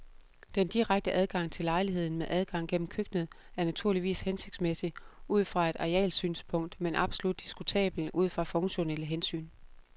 Den direkte adgang til lejligheden med adgang gennem køkkenet er naturligvis hensigtsmæssig ud fra et arealsynspunkt, men absolut diskutabel ud fra funktionelle hensyn.